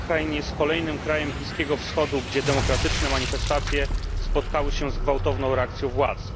Bahrajn jest kolejnym krajem Bliskiego Wschodu, gdzie demokratyczne manifestacje spotkały się z gwałtowną reakcją władz.